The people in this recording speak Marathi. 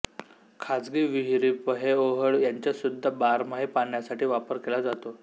खाजगी विहिरी पर्हेओहोळ ह्यांंचासुध्दा बारमाही पाण्यासाठी वापर केला जातो